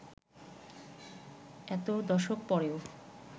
এত দশক পরেও